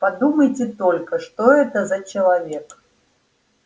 подумайте только что это за человек